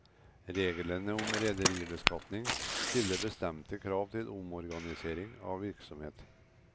Reglene om rederibeskatning stiller bestemte krav til omorganisering av virksomhet.